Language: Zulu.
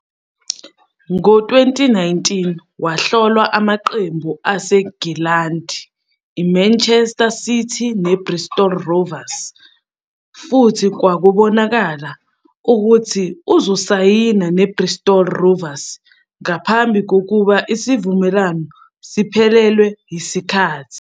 Ngo-2019, wahlolwa amaqembu aseNgilandi iManchester City neBristol Rovers, futhi kwakubonakala ukuthi uzosayina neBristol Rovers ngaphambi kokuba isivumelwano siphelelwe yisikhathi.